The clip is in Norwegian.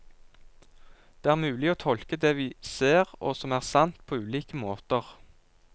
Det er mulig å tolke det vi ser, og som er sant, på ulike måter.